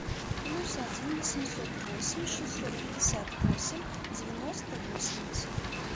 плюс один восемьсот восемь шестьсот пятьдесят восемь девяносто восемьдесят